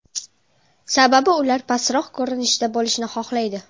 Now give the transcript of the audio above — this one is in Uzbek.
Sababi ular pastroq ko‘rinishda bo‘lishni xohlaydi.